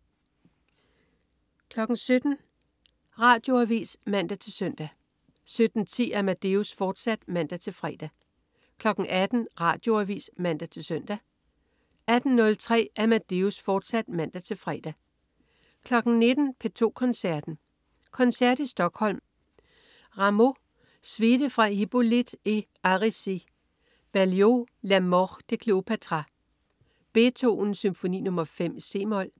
17.00 Radioavis (man-søn) 17.10 Amadeus, fortsat (man-fre) 18.00 Radioavis (man-søn) 18.03 Amadeus, fortsat (man-fre) 19.00 P2 Koncerten. Koncert i Stockholm. Rameau: Suite fra Hippolyte et Aricie. Berlioz: La mort de Cléopâtra. Beethoven: Symfoni nr. 5, c-mol.